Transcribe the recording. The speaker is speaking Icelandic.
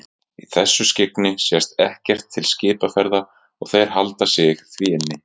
Í þessu skyggni sést ekkert til skipaferða og þeir halda sig því inni.